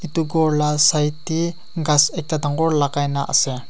edu ghor la side tae ghas ekta dangor lakai na ase.